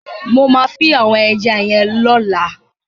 Mo ma fin àwon eja yen lọ́la